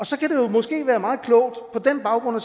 så kan det måske være meget klogt på den baggrund at